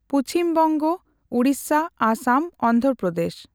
Paschim Banga, Odisha, Assam, Andhra Pradesh.